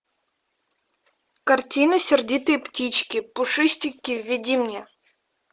картина сердитые птички пушистики введи мне